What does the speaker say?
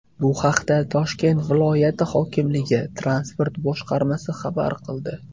Bu haqda Toshkent viloyati hokimligi Transport boshqarmasi xabar qildi .